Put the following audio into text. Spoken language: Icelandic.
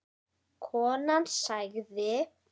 Konan sagði